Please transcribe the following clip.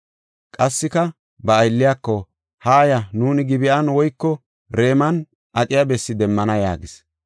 Qassika ba aylliyako, “Haaya, nuuni Gib7an woyko Raman aqiya bessi demmana” yaagis.